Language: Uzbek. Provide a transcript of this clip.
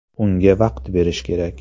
Unga vaqt berish kerak.